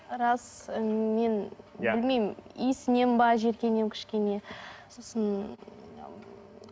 рас ыыы мен білмеймін иісінен бе жиіркенемін кішкене сосын